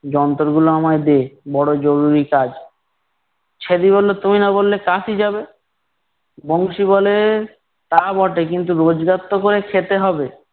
যন্তরগুলো আমায় দে, বড় জরুরি কাজ। ছ্যাদি বললো, তুমি না বললে কাশী যাবে? বংশী বলে, তা বটে কিন্তু রোজগার তো করে খেতে হবে।